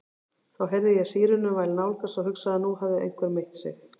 Þá heyrði ég sírenuvæl nálgast og hugsaði að nú hefði einhver meitt sig.